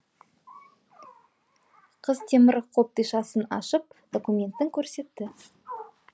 қыз темір қобдишасын ашып документін көрсетті